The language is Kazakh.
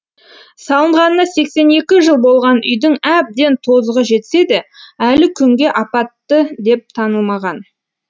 салынғанына сексен екі жыл болған үйдің әбден тозығы жетсе де әлі күнге апатты деп танылмаған